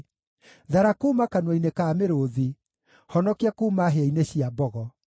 Thara kuuma kanua-inĩ ka mĩrũũthi; honokia kuuma hĩa-inĩ cia mbogo.